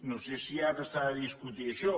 no sé si ara s’ha de discutir això